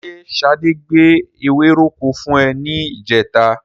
Ṣé Ṣadé gbé ewéròkó fún ẹ ní ìjẹta?